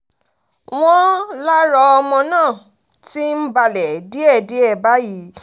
wọ́n lára ọmọ náà ti ń balẹ̀ díẹ̀díẹ̀ báyìí